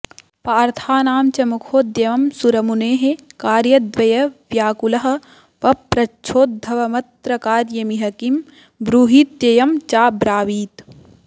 पार्थानां च मखोद्यमं सुरमुनेः कार्यद्वयव्याकुलः पप्रच्छोद्धवमत्र कार्यमिह किं ब्रूहीत्ययं चाब्रावीत्